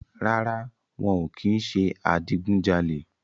Rárá, wọn ò kì ń ṣe adigun jalè